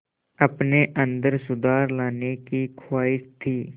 अपने अंदर सुधार लाने की ख़्वाहिश थी